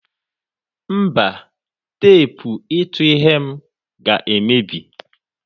Mba, teepụ ịtụ ihe m ga-emebi.